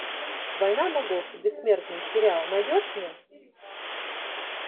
война богов бессмертный сериал найдешь мне